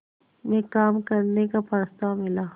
में काम करने का प्रस्ताव मिला